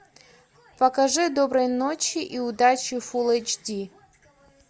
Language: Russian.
покажи доброй ночи и удачи фулл эйч ди